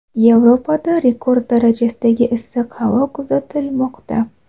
Yevropada rekord darajadagi issiq ob-havo kuzatilmoqda.